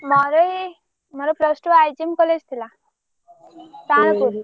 ମୋର ଏଇ ମୋର plus two IGM college ଥିଲା ତାଳପୁର।